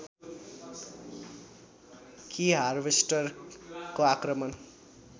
कि हार्वेस्टरको आक्रमण